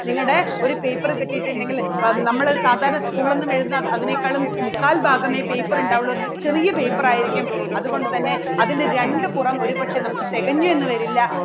നിങ്ങളുടെ ഒരു paper കിട്ടിയിട്ടുണ്ടെങ്കിൽ നമ്മള് സാധാരണ school എഴുതുന്ന ഒന്നും അതിനേക്കാളും മുക്കാൽ ഭാഗമേ paper ഉണ്ടാവുള്ളൂ ചെറിയ paper ആയിരിക്കും. അതുകൊണ്ടുതന്നെ അതിൻറെ രണ്ടു പുറം ഒരു പക്ഷേ നമുക്ക് തികഞ്ഞ് എന്ന് വരില്ല.